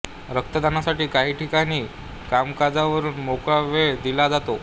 रक्तदानासाठी काही ठिकाणी कामकाजावरून मोकळा वेळ दिला जातो